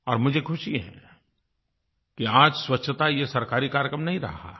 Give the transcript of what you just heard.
और मुझे खुशी है कि आज स्वच्छता ये सरकारी कार्यक्रम नहीं रहा है